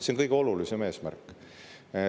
See on kõige olulisem eesmärk.